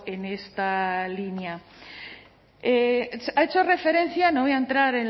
en esta línea ha hecho referencia no voy a entrar